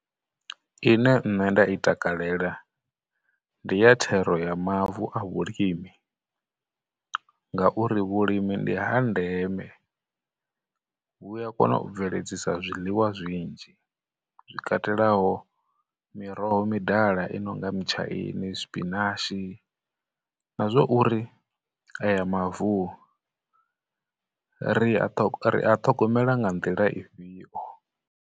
Ine nṋe nda i takalela, ndi ya thero ya mavu a vhulimi, ngauri vhulimi ndi ha ndeme, vhu ya kona u bveledzisa zwiḽiwa zwinzhi zwi katelaho miroho midala i nonga, mutshaini, tshipinashi, na zwa uri aya mavu ri a ri a ṱhogomela nga nḓila ifhio?